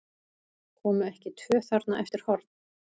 Komu ekki tvö þarna eftir horn?